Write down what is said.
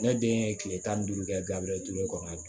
Ne den ye kile tan ni duuru kɛ gabila duuru kɔnɔ